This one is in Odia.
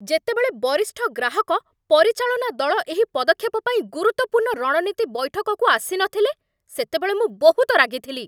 ଯେତେବେଳେ ବରିଷ୍ଠ ଗ୍ରାହକ ପରିଚାଳନା ଦଳ ଏହି ପଦକ୍ଷେପ ପାଇଁ ଗୁରୁତ୍ୱପୂର୍ଣ୍ଣ ରଣନୀତି ବୈଠକକୁ ଆସିନଥିଲେ, ସେତେବେଳେ ମୁଁ ବହୁତ ରାଗିଥିଲି।